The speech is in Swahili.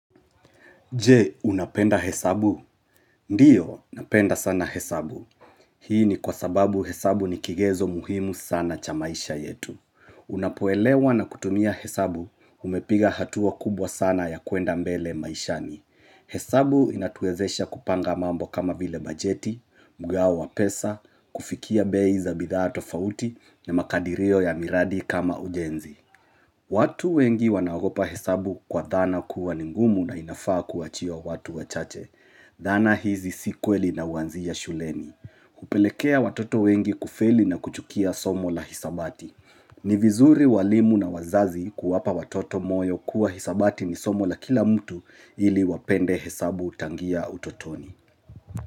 Je, unapenda hesabu? Ndiyo, napenda sana hesabu. Hii ni kwa sababu hesabu ni kigezo muhimu sana cha maisha yetu. Unapoelewa na kutumia hesabu, umepiga hatua kubwa sana ya kuenda mbele maishani. Hesabu inatuwezesha kupanga mambo kama vile bajeti, mgao wa pesa, kufikia bei za bidhaatofauti, na makadirio ya miradi kama ujenzi. Watu wengi wanagopa hesabu kwa dhana kuwa ningumu na inafaa kuwa chio watu wachache. Dhana hizi si kweli na huanzia shuleni. Kupelekea watoto wengi kufeli na kuchukia somo la hisabati. Ni vizuri walimu na wazazi kuwapa watoto moyo kuwa hisabati ni somo la kila mtu ili wapende hesabu tangia utotoni.